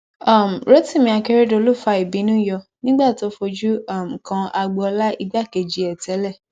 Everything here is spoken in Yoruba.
um rotimi akeredolu fa ìbínú yọ nígbà tó fojú um kan agboola igbákejì ẹ tẹlẹ